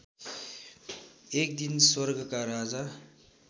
एकदिन स्वर्गका राजा